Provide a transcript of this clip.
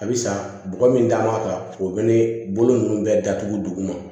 A bɛ san bɔgɔ min da n'a kan o bɛ ne bolo ninnu bɛɛ datugu duguma